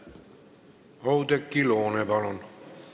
Oudekki Loone, palun!